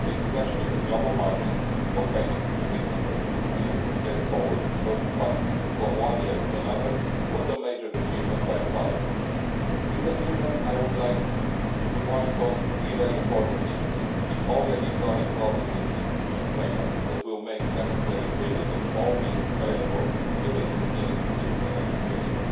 The introduction of the global margins for payments and commitments and the possibility to carry forward funds from one year to another was a major achievement by Parliament. In conclusion, I would like to point to three very important issues the already chronic problem with insufficient payments, meaning that it will still be necessary to use all means available at the beginning of the new financial